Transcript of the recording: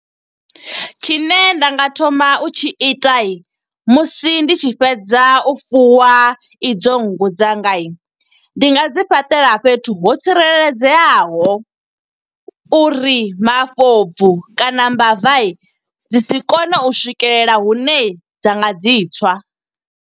Tshine nda nga thoma u tshi ita, musi ndi tshi fhedza u fuwa i dzo nngu dzanga. Ndi nga dzi fhaṱela fhethu ho tsireledzeaho, uri mafobvu kana mbava dzi si kone u swikelela hune dza nga dzi tswa.